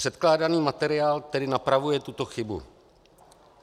Předkládaný materiál tedy napravuje tuto chybu.